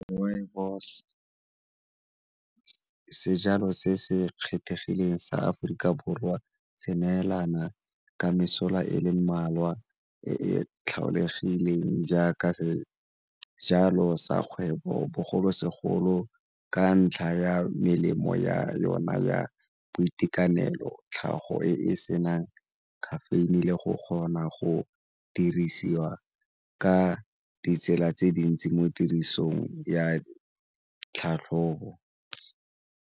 Rooibos, sejalo se se kgethegileng sa Aforika Borwa se neelana ka mesola e le mmalwa e e tlholegileng jaaka jalo sa kgwebo bogolosegolo ka ntlha ya melemo ya yona ya boitekanelo, tlhago e e senang caffeine-e le go kgona go dirisiwa ka ditsela tse dintsi mo tirisong ya tlhatlhobo.